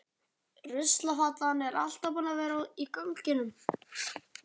Ruslafatan er alltaf tilbúin í ganginum.